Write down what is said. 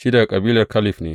Shi daga kabilar Kaleb ne.